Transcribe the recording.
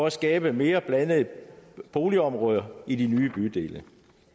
at skabe mere blandede boligområder i de nye bydele